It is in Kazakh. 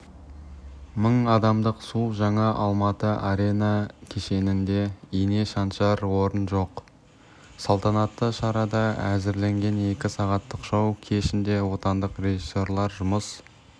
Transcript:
мың адамдық су жаңа алматы арена кешенінде ине шаншар орын жоқ салтанатты шараға әзірленген екі сағаттық шоу кешінде отандық режиссрлар жұмыс